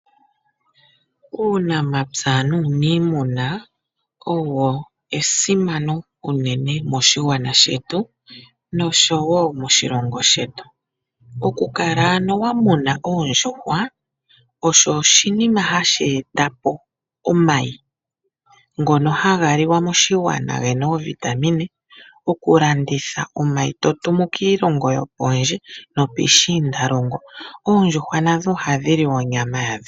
Uunamapya nuuniimuna owo esimano enene moshigwana shetu noshowo moshilongo shetu . Okukala wamuna oondjuhwa osho oshinima hashi etapo omayi ngono haga liwa moshigwana gena oovitamine . Okulanditha omayi totumu kiilongo yopondje nopuushiindalongo. Oondjuhwa nadho ohadhi liwa onyama yadho.